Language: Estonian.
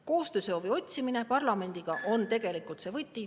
Koostöö otsimine parlamendiga on tegelikult see võti …